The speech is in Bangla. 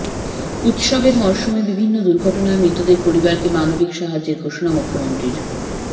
উত্সবের মরশুমে বিভিন্ন দুর্ঘটনায় মৃতদের পরিবারকে মানবিক সাহায্যের ঘোষণা মুখ্যমন্ত্রীর